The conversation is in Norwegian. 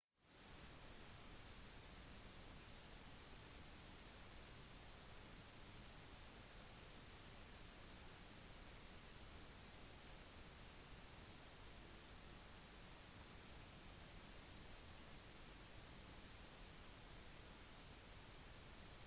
star alliance dekker derimot alt med unntak av det østlige sør-stillehavet fra santiago de chile til tahiti som er en latam oneworld-flyvning